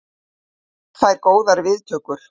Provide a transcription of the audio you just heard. Eldfjall fær góðar viðtökur